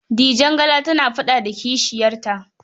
Dijangala tana faɗa da kishiyarta.